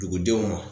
Dugudenw ma